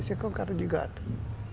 Isso aqui é um cara de gato.